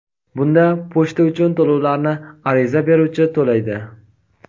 Bunda pochta uchun to‘lovlarni ariza beruvchi to‘laydi.